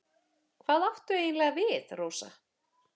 Hvað áttu eiginlega við, Rósa?